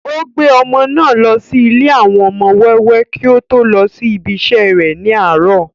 ó gbé ọmọ náà lọ sí ilé àwọn ọmọ wẹ́wẹ́ kí ó tó lọ sí ibi isẹ́ ní àárọ̀